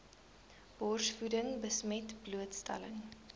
borsvoeding besmet blootstelling